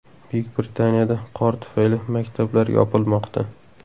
Buyuk Britaniyada qor tufayli maktablar yopilmoqda .